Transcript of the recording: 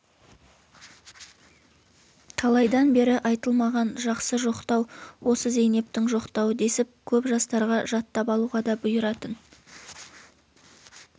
талайдан бері айтылмаған жақсы жоқтау осы зейнептің жоқтауы десіп көп жастарға жаттап алуға да бұйыратын